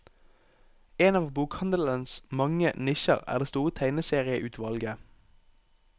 En av bokhandelens mange nisjer er det store tegneserieutvalget.